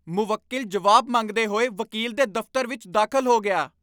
ਮੁਵੱਕਿਲ ਜਵਾਬ ਮੰਗਦੇ ਹੋਏ ਵਕੀਲ ਦੇ ਦਫ਼ਤਰ ਵਿੱਚ ਦਾਖਲ ਹੋ ਗਿਆ!